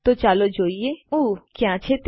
તો ચાલો જોઈ લઈએ ઉમ્મક્યાં છે તે